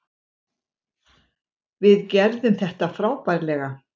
Við gerðum þetta frábærlega.